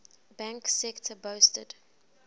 banking sector boasted